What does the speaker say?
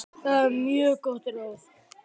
Það var mjög gott ráð.